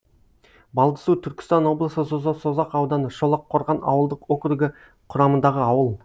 балдысу түркістан облысы созақ ауданы шолаққорған ауылдық округі құрамындағы ауыл